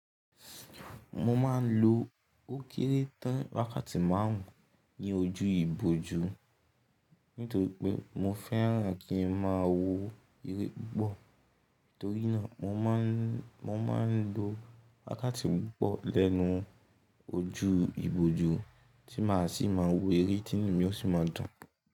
Mo ma n lo ókéré tán wákàtí márùn ún ní ojú ìbòjú nítorí pé mo fẹ́ran kí n má a wo eré gbọ́. Torí náà mo ma n lo wákàtí pupọ́ lẹ́nu ojú ìbòjú tí màá sì máa wo eré tí ní mi ò sì máa dùn.